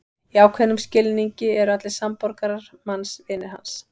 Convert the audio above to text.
Í ákveðnum skilningi eru allir samborgarar manns vinir hans.